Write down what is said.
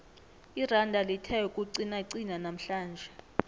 iranda lithe ukuqinaqina namhlanje